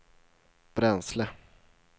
bränsle